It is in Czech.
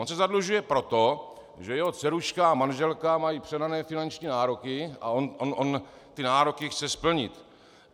On se zadlužuje proto, že jeho dceruška a manželka mají přehnané finanční nároky a on ty nároky chce splnit.